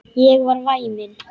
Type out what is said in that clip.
Ég er væmin.